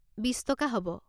বিচ টকা হ'ব।